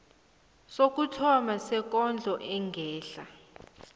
sokuthoma sekondlo engehla